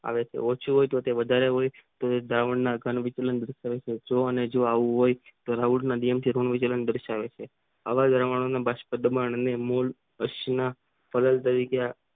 આવે છે ઓછું હોય તો તે વધારે હોય તોય દ્રાવણ ના કળ ને જે અને એવું હોય તો રાઉથ ના નિયમ દાર્શવે છે આવ પરમાણુ ને નિયમોન તરીકે